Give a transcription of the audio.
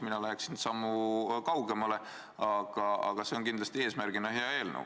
Mina läheksin küll sammu kaugemale, aga eesmärgilt on see kindlasti hea eelnõu.